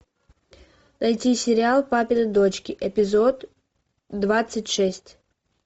найти сериал папины дочки эпизод двадцать шесть